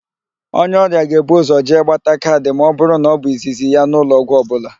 Onye ọrịa ga-ebu ụzọ jee gbata kaad ma ọ bụrụ na ọ bụ izizi ya n'ụlọọgwụ ọbụla.